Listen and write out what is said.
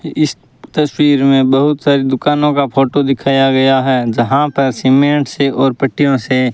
इस तस्वीर में बहुत सारी दुकानों का फोटो दिखाया गया है जहां पर सीमेंट से और पट्टियों से --